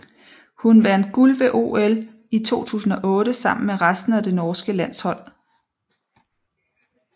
Hun vandt guld ved OL i 2008 sammen med resten af det norske landshold